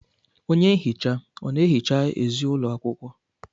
Onye nhicha ọ na-ehicha ezi ụlọ akwụkwọ?